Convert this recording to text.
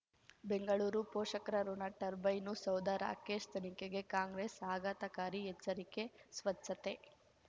ಬೆಂಗಳೂರು ಪೋಷಕರಋಣ ಟರ್ಬೈನು ಸೌಧ ರಾಕೇಶ್ ತನಿಖೆಗೆ ಕಾಂಗ್ರೆಸ್ ಆಘಾತಕಾರಿ ಎಚ್ಚರಿಕೆ ಸ್ವಚ್ಛತೆ